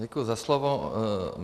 Děkuji za slovo.